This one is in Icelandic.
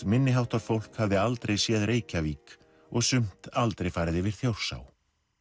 minni háttar fólk hafði aldrei séð Reykjavík og sumt aldrei farið yfir Þjórsá